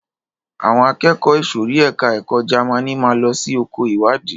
Àwọn akẹ́kọ̀ọ́ ìsòrí ẹka ẹ̀kọ́ Jamaní máa lọ sí oko ìwádìí.